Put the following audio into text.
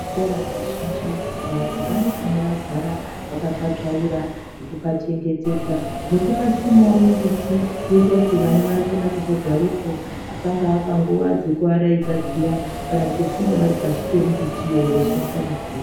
Zvikora zvizhinji, vantu vanofanira kugara vakapatsvaira nekupachengetedza, nekupasimiwa mimbiti yekutoti vana vanokona kuzogarepo. Pangava panguwa dzekuvaraidza dziya, kana kutofunda varipashi pembiti wo veyishandisa mibvuri.